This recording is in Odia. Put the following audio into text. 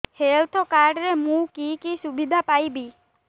ହେଲ୍ଥ କାର୍ଡ ରେ ମୁଁ କି କି ସୁବିଧା ପାଇବି